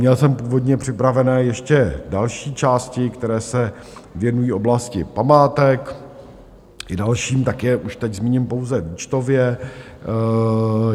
Měl jsem původně připravené ještě další části, které se věnují oblasti památek i dalším, tak je už teď zmíním pouze výčtově.